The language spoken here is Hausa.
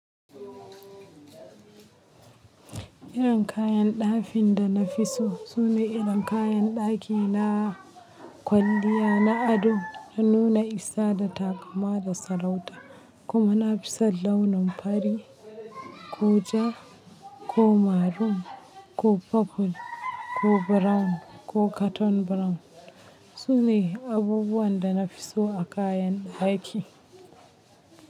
Irin kayan ɗafin da na fi so sune irin kayan ɗaki na kwalliya na ado na nuna isa da takama da sarauta. Kuma na fi son launin fari, ko ja, ko maroon, ko purple, ko brown, ko carton brown. Sune abubuwan da na fi so a kayan ɗaki.